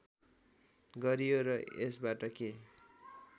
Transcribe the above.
गरियो र यसबाट के